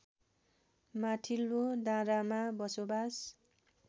माथिल्लो डाँडामा बसोबास